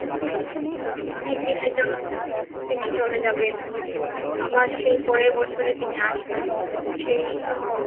অনেক দিনের জন্য তিনি চলে যাবেন আবার সেই পরের বছরে তিনি আসবেন সেই।